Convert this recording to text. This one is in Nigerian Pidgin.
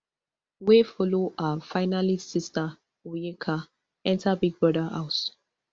wey follow her finalist sister onyeka enta big brother house